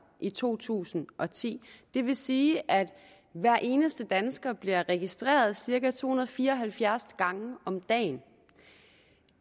i to tusind og ti det vil sige at hver eneste dansker bliver registreret cirka to hundrede og fire og halvfjerds gange om dagen